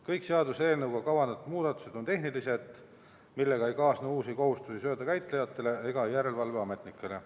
Kõik seaduseelnõuga kavandatud muudatused on tehnilised, millega ei kaasne uusi kohustusi söödakäitlejatele ega järelevalveametnikele.